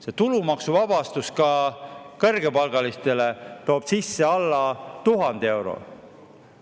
See tulumaksu toob kõrgepalgalistele sisse alla 1000 euro.